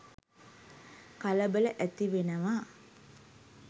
කලබල ඇතිවෙනවා.